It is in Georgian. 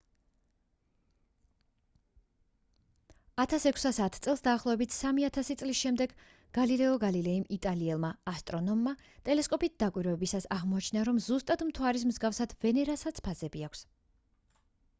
1610 წელს დაახლოებით სამი ათასი წლის შემდეგ გალილეო გალილეიმ იტალიელმა ასტრონომმა ტელესკოპით დაკვირვებისას აღმოაჩინა რომ ზუსტად მთვარის მსგავსად ვენერასაც ფაზები აქვს